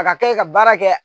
A ka kɛ ka baara kɛ